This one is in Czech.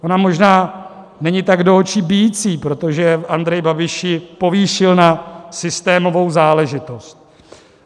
Ona možná není tak do očí bijící, protože Andrej Babiš ji povýšil na systémovou záležitost.